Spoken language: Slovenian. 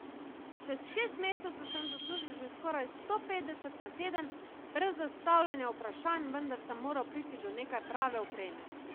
Čez šest mesecev sem zaslužil že skoraj sto petdeset na teden, brez zastavljanja vprašanj, vendar sem moral priti do nekaj prave opreme.